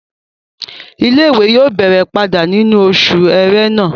Ilé-ìwé yóò bẹ̀rẹ̀ padà nínú oṣù ẹrẹ́nà